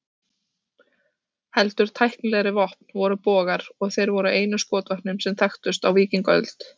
Heldur tæknilegri vopn voru bogar, og þeir voru einu skotvopnin sem þekktust á víkingaöld.